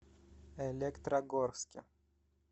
электрогорске